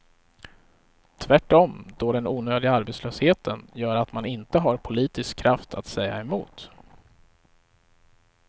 Tvärtom då den onödiga arbetslösheten gör att man inte har politisk kraft att säga emot.